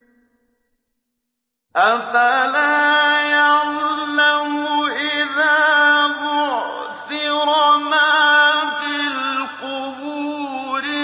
۞ أَفَلَا يَعْلَمُ إِذَا بُعْثِرَ مَا فِي الْقُبُورِ